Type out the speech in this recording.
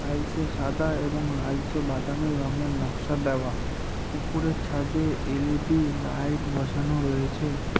টাইলসে সাদা এবং লালচে বাদামী রঙের নকশা দেওয়া উপরের ছাদে এল_ই_ডি লাইট বসানো রয়েছে।